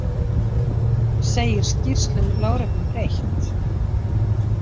Segir skýrslum lögreglu breytt